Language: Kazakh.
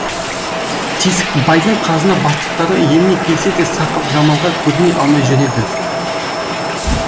тесікбайдың қазына бастықтары еліне келсе де сақыпжамалға көріне алмай жүреді